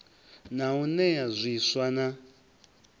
na u nea zwiswa na